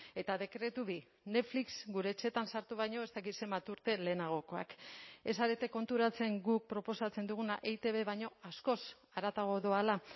eta dekretu bi netflix gure etxeetan sartu baino ez dakit zenbat urte lehenagokoak ez zarete konturatzen guk proposatzen duguna eitb baino askoz haratago doala